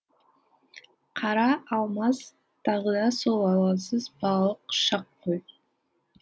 қара алмас тағы да сол алаңсыз балалық шақ қой